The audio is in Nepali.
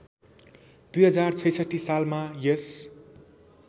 २०६६ सालमा यस